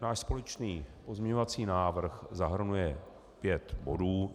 Náš společný pozměňovací návrh zahrnuje pět bodů.